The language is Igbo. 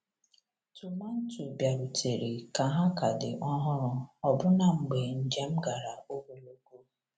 Tomanto bịarutere ka ha ka dị ọhụrụ ọbụna mgbe njem gara ogologo.